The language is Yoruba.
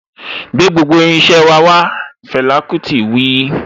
Gbé gbogbo irin iṣẹ́ wà wá' Fẹlà kútì wí.